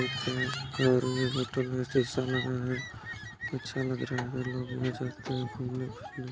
शीशा लग रहा है अच्छा लग रहा है --